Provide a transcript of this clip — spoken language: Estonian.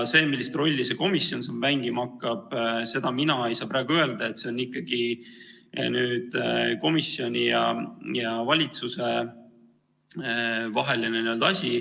Seda, millist rolli see komisjon siin mängima hakkab, mina ei saa praegu öelda, see on ikkagi komisjoni ja valitsuse vaheline asi.